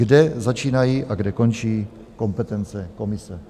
Kde začínají a kde končí kompetence komise?